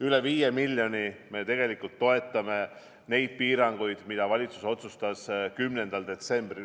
Üle 5 miljoni euroga me toetame nende piirangute tõttu, mida valitsus otsustas 10. detsembril.